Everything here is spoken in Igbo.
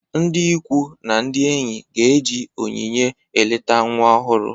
Ndị ikwu na ndị enyi ga-eji onyinye eleta nwa ọhụrụ